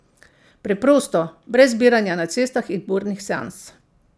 Preprosto, brez zbiranja na cestah in burnih seans.